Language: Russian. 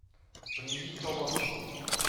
привезите колбасу